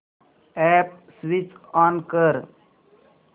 app switch on कर